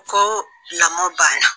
Ko lamɔ banna